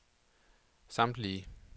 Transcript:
samtlige